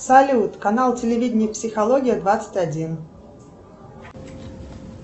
салют канал телевидения психология двадцать один